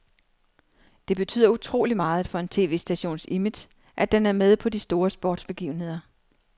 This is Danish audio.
Det betyder utrolig meget for en tv-stations image, at den er med på de store sportsbegivenheder.